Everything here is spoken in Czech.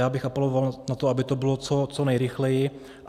Já bych apeloval na to, aby to bylo co nejrychleji.